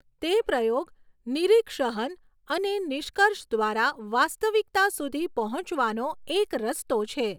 તે પ્રયોગ નિરીક્ષહન અને નિષ્કર્ષ દ્વારા વાસ્તવિકતા સુધી પહોંચવાનો એક રસ્તો છે.